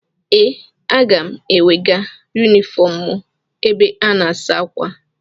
Ee, aga m ewega yunifọm mụ ebe a na-asa ákwà.